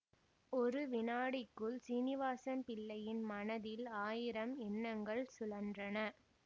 ஒரு வினாடிக்குள் சீனிவாசம் பிள்ளையின் மனதில் ஆயிரம் எண்ணங்கள் சுழன்றன